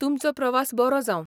तुमचो प्रवास बरो जावं.